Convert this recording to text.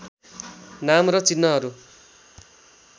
नाम र चिह्नहरू